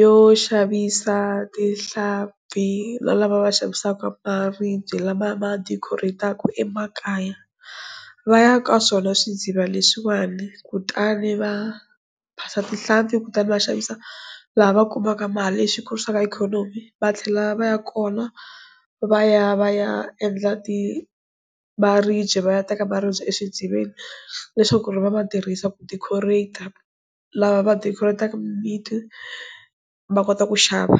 yo xavisa tihlampfi na lava va xavisaka maribye lama ma deco-reyitaka emakaya va ya ka swona swi ndziva leswiwani kutani va phasa tihlampfi kutani va xavisa laha va kumaka mali lexi kurisaka ikhonomi va tlhela va ya kona va ya va ya ya endla ti maribye va ya teka maribye exidziveni leswaku ku ri va ma tirhisa ku decorat-a lava va ti kotaka va kota ku xava.